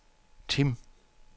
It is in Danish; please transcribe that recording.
Tim